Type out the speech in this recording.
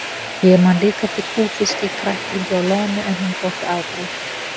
Ég man líka eftir kúfiski, kræklingi og loðnu en hún þótti afbragð.